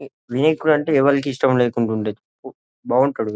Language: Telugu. మీకు అంటే ఎవరికి ఇష్టం లేకుండా ఉండదు బాగుంటాడు కదా--